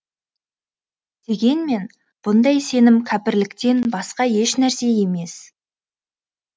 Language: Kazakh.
дегенмен бұндай сенім кәпірліктен басқа ешнәрсе емес